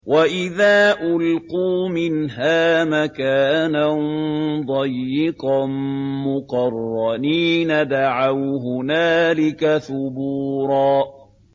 وَإِذَا أُلْقُوا مِنْهَا مَكَانًا ضَيِّقًا مُّقَرَّنِينَ دَعَوْا هُنَالِكَ ثُبُورًا